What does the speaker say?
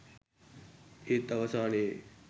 ඒත් අවසානයේ